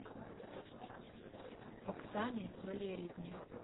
оксане валериевне